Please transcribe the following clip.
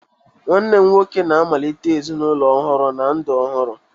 Nwanne m nwoke na-amalite ezinụlọ ọhụrụ na ndụ ọhụrụ